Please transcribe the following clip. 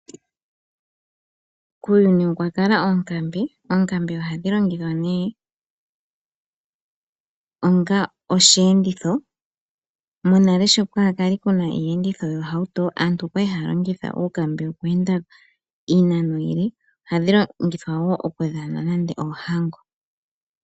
Kuuyuni okwa kala oonkambe. Oonkambe ohadhi longithwa nee onga oshiyenditho. Monale sho kwali kwaahena iiyenditho yoohauto aantu okwali haa longitha uukambe okweenda iinano iile ,ohadhi longithwa wo okudhana nande oohango.